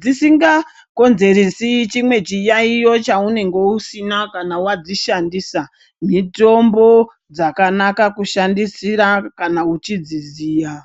dzisingakonzeresi chimwe chiyaiyo chaunenge usina kana wadzishandisa mutombo dzakanaka kushandisira kana uchidziziya.